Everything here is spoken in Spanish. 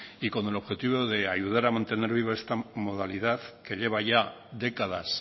y con el objetivo de ayudar a mantener vivo esta modalidad que lleva ya décadas